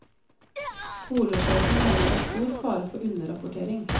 Skolesjefen mener det er stor fare for underrapportering.